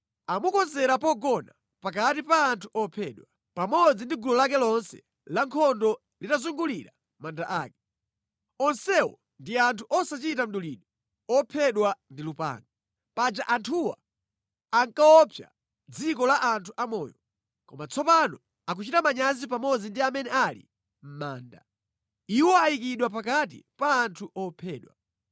Amukonzera pogona pakati pa anthu ophedwa, pamodzi ndi gulu lake lonse la nkhondo litazungulira manda ake. Onsewo ndi anthu osachita mdulidwe ophedwa ndi lupanga. Paja anthuwa ankaopsa mʼdziko la anthu a moyo. Koma tsopano akuchita manyazi pamodzi ndi amene ali mʼmanda. Iwo ayikidwa pakati pa anthu ophedwa.